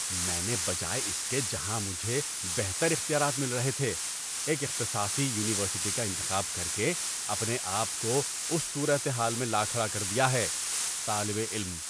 میں نے بجائے اس کے جہاں مجھے بہتر اختیارات مل رہے تھے، ایک اختصاصی یونیورسٹی کا انتخاب کر کے اپنے آپ کو اس صورت حال میں لا کھڑا کر دیا ہے۔ (طالب علم)